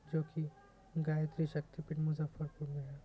जो की गायत्री शक्ति पीठ मुज़फ़्फ़रपुर में है।